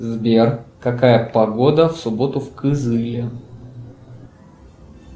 сбер какая погода в субботу в кызыле